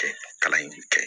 Kɛ kalan in kɛ